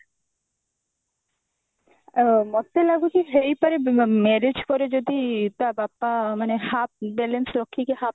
ଅ ମୋତେ ଲାଗୁଛି ହେଇପାରେ marriage ପରେ ଯଦି ତା ବାପା ମାନେ half balance ରଖିକି half